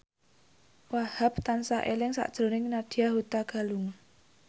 Wahhab tansah eling sakjroning Nadya Hutagalung